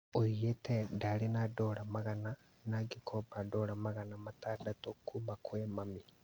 Oigĩte "ndarĩ na Dora magana na ngĩkomba Dora magana matandatũ kuma kwĩ mami"